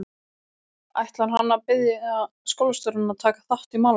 Ætlar hann að biðja skólastjórann að taka á málinu?